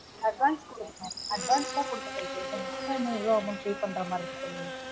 advance குடுக்கணும் advance தான் குடுத்துட்டன் extra இன்னும் எவ்ளொ amount pay பண்ணுற மாதிரி இருக்கு சொல்லுங்க